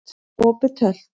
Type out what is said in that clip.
Opið Tölt